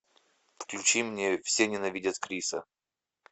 включи мне все ненавидят криса